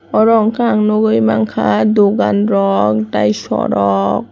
oro hwnkhai ang nukgui mankha dukan rok tei sorok.